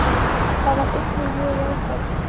Það var einnig mjög jákvætt